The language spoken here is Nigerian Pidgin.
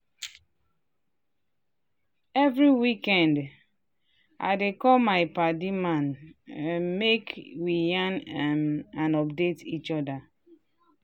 every weekend um i dey call my padi man um make we yarn um and update each other.